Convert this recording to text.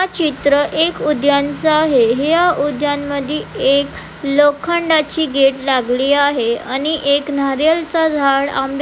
हा चित्र एका उद्यानचा आहे या उद्यान मध्ये एक लोखंडाची गेट लागली आहे आणि एक नारियल चा झाड आम--